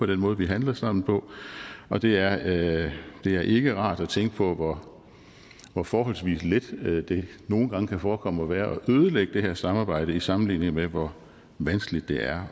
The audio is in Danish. den måde vi handler sammen på og det er det er ikke rart at tænke på hvor hvor forholdsvis let det nogle gange kan forekomme at være at ødelægge det her samarbejde i sammenligning med hvor vanskeligt det er